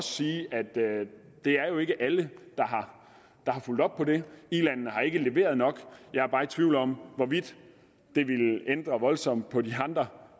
sige at det det jo ikke er alle der har fulgt op på det ilandene har ikke leveret nok jeg er bare i tvivl om hvorvidt det ville ændre voldsomt på de andre